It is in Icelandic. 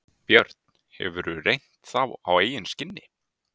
Björn: Hefurðu reynt þá á eigin skinni?